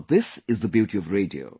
But this is the beauty of radio